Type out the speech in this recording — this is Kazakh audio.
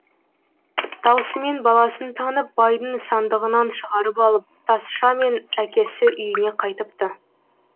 даусымен баласын танып байдың сандығынан шығарып алып тазша мен әкесі үйіне қайтыпты